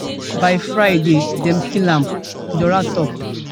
by friday dem kill am dora tok